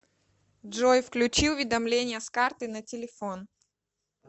джой включи уведомления с карты на телефон